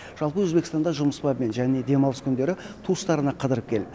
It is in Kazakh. жалпы өзбекстанда жұмыс бабымен және демалыс күндері туыстарына қыдырып келіп